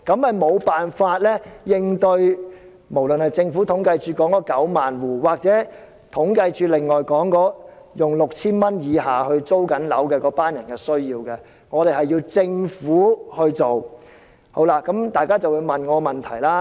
這做法無法應付統計處所說的9萬戶，或是正在支付 6,000 元以下租金的那一群人的需要，這方面的工作需要由政府來做。